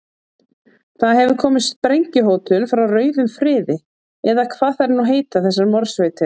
Það hefur komið sprengjuhótun frá rauðum friði, eða hvað þær nú heita þessar morðsveitir.